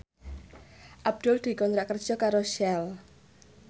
Abdul dikontrak kerja karo Shell